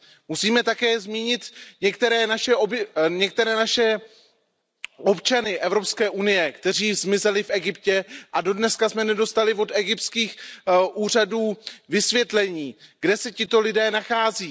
Musíme také zmínit některé naše občany Evropské unie, kteří zmizeli v Egyptě, a dodnes jsme nedostali od egyptských úřadů vysvětlení, kde se tito lidé nachází.